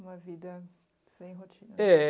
Uma vida sem rotina. É...